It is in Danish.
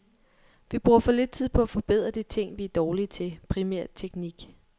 Vi bruger for lidt tid på at forbedre de ting, vi er dårlige til, primært teknik.